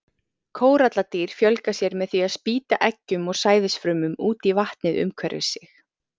Kóralladýr fjölga sér með því að spýta eggjum og sæðisfrumum út í vatnið umhverfis sig.